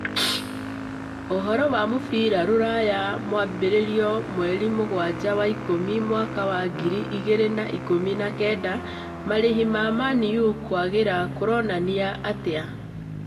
Ũhoro wa mũbira rũraya mwambĩrĩrio mweri mũgwanja wa-ikũmi Mwaka wa ngiri igĩrĩ na ikũmi na kenda: marĩhi ma Man-U kwagĩra kũronania atĩa?